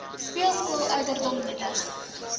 speelskool ouderdom nuttig